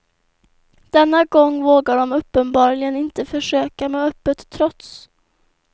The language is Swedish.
Denna gång vågar de uppenbarligen inte försöka med öppet trots.